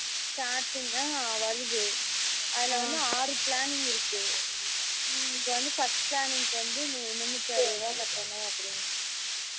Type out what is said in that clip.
starting தான் வருது அதுல வந்து ஆறு planning இருக்கு இப்போ வந்து first planning வந்து முன்னுத்தி அறுபது ரூபாய் கட்டனும் அப்படினு